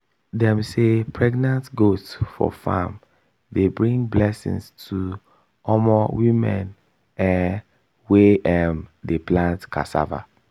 dem say pregnant goat for farm dey bring blessing to um women um wey um dey plant cassava.